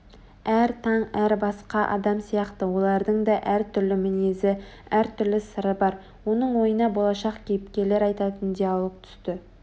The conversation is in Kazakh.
Әр таң әр басқа адам сияқты олардың да әр түрлі мінезі әр түрлі сыры бар оның ойына болашақ кейіпкерлер айтатын диалог түсті